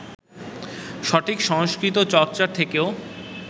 সঠিক সংস্কৃতিচর্চা থেকেও